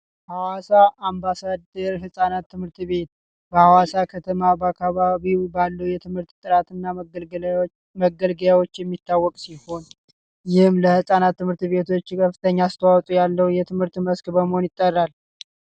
ሀዋሳ አምባሳደር ህፃናት ትምህርት ቤት በሀዋሳ ከተማ እና በአካባቢው ባለው የትምህርት ጥራት እና መገልገያዎች የሚታወቅ ሲሆን ይህም ለህፃናት ትምህርት ቤቶች ከፍተኛ አሰተዋጽኦ ያለው የትምህርት በስክ በመሆን ይጠራል።